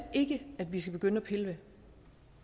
ikke at vi skal begynde at pille ved det